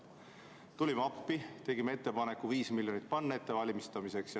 Tulime appi, tegime ettepaneku panna 5 miljonit selle ettevalmistamiseks.